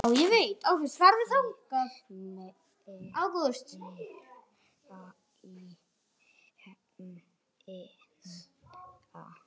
Hvorki meira né minna!